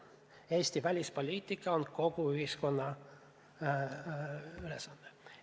Eesti välispoliitika on kogu ühiskonna ülesanne.